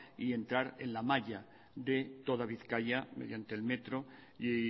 y entrar en la malla de toda bizkaia mediante el metro y